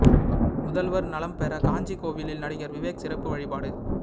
முதல்வர் நலம் பெற காஞ்சி கோவிலில் நடிகர் விவேக் சிறப்பு வழிபாடு